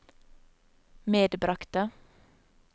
medbragte